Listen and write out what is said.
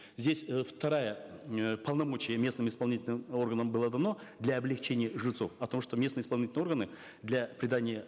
здесь э второе э полномочие местным исполнительным органам было дано для облегчения жильцов о том что местные исполнительные органы для придания